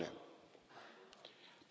Potrebbe essere pericoloso.